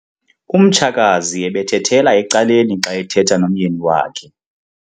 Umtshakazi ebethethela ecaleni xa ethetha nomyeni wakhe.